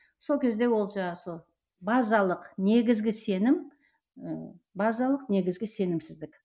сол кезде ол жаңағы сол базалық негізгі сенім ііі базалық негізгі сенімсіздік